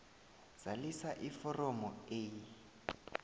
zalisa iforomo a